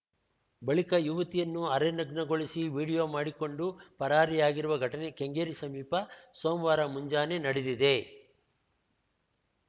ಬಳಿಕ ಯುವತಿಯನ್ನು ಅರೆ ನಗ್ನಗೊಳಿಸಿ ವಿಡಿಯೋ ಮಾಡಿಕೊಂಡು ಪರಾರಿಯಾಗಿರುವ ಘಟನೆ ಕೆಂಗೇರಿ ಸಮೀಪ ಸೋಮವಾರ ಮುಂಜಾನೆ ನಡೆದಿದೆ